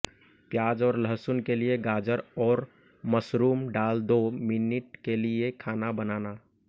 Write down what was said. प्याज और लहसुन के लिए गाजर और मशरूम डाल दो मिनट के लिए खाना बनाना